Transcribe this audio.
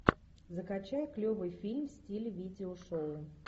закачай клевый фильм в стиле видео шоу